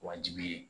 Wajibi ye